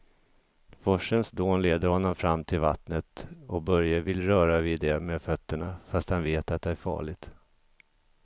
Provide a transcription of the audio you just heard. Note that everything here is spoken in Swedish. Forsens dån leder honom fram till vattnet och Börje vill röra vid det med fötterna, fast han vet att det är farligt.